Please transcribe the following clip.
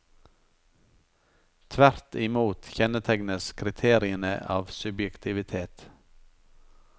Tvert i mot kjennetegnes kriteriene av subjektivitet.